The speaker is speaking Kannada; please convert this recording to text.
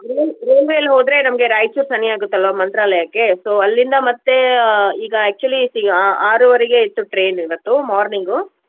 ರೇಲ್ ರೇಲ್ವೆ ಅಲ್ಲಿ ಹೋದ್ರೆ ನಮ್ಗೆ ರಾಯ್ಚುರ್ ಸನಿಯಾಗುತ್ತಲ್ವಾ ಮಂತ್ರಾಲಯಕ್ಕೆ. So ಅಲ್ಲಿಂದ ಮತ್ತೆ ಈಗಾ actually ಸಿ~ ಆ~ ಆರುವರೆಗೆ ಇತ್ತು train ಇವತ್ತು morning ಉ.